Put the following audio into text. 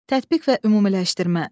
Tətbiq və ümumiləşdirmə.